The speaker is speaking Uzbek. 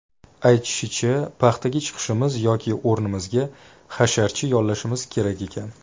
Aytishicha, paxtaga chiqishimiz yoki o‘rnimizga hasharchi yollashimiz kerak ekan.